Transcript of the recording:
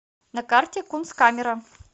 на карте кунсткамера